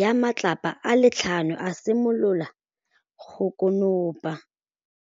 ya matlapa a le tlhano, a simolola go konopa.